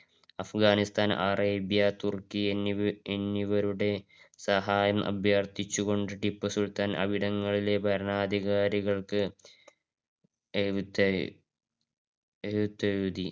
അഫ്ഘാനിസ്ഥാന് Arabia Turkey എന്നിവരുടെ സഹായം അഭ്യർഥിച്ച് കൊണ്ട് ടിപ്പു സുൽത്താൻ അവിടങ്ങളിലെ ഭരണാധികാരികള്‍ക്ക് എഴുത്ത്~ എഴുത്തെഴുതി